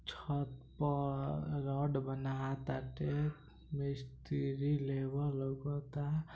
छत पर रड बनाताटे मिस्त्री लेबर लोकाता।